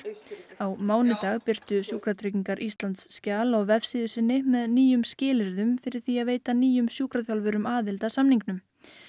á mánudag birtu Sjúkratryggingar Íslands skjal á vefsíðu sinni með nýjum skilyrðum fyrir því að veita nýjum sjúkraþjálfurum aðild að samningnum